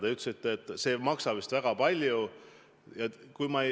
Te ütlesite, et see ei maksa väga palju.